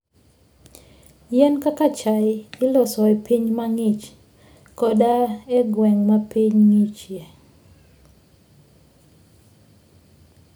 Yien kaka chai iloso e pinje mang'ich koda e gwenge ma piny ng'ichie.